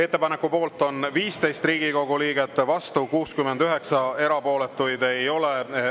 Ettepaneku poolt on 15 Riigikogu liiget, vastu 69, erapooletuid ei ole.